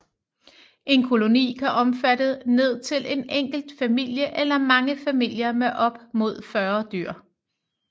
En koloni kan omfatte ned til en enkelt familie eller mange familier med op imod 40 dyr